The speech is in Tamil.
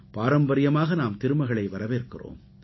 பாரம்பரியமாக நாம் திருமகளை வரவேற்கிறோம்